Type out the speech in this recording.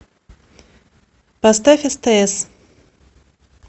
поставь стс